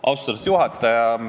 Austatud juhataja!